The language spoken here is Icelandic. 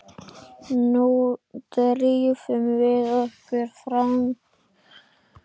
Nú drífum við okkur fram!